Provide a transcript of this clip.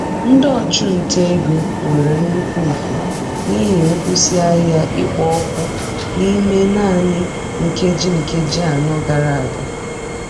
Ndị ọchụnta ego nwere nnukwu mfu n'ihi nkwụsị ahịa ikpo okwu n'ime naanị nkeji nkeji anọ gara aga.